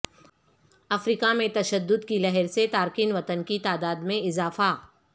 افریقہ میں تشدد کی لہر سے تارکین وطن کی تعداد میں اضافہ